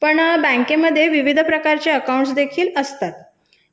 बँकेमध्ये विविध प्रकारचे खाते देखील असतात